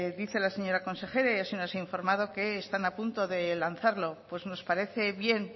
dice la señora consejera y así nos han informado que están a punto de lanzarlo pues nos parece bien